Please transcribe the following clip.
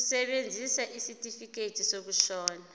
kusebenza isitifikedi sokushona